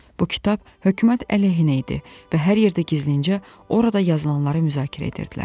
Bu kitab hökumət əleyhinə idi və hər yerdə gizlincə orada yazılanları müzakirə edirdilər.